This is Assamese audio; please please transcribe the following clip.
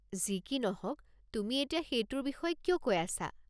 যি কি নহওক, তুমি এতিয়া সেইটোৰ বিষয়ে কিয় কৈ আছা?